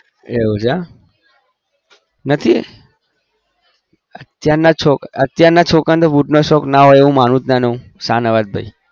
એવું છે નથી અત્યારના છોકરાને boot નો શોક ના હોય એવું માનું જ ના હું શાહનવાજ ભાઈ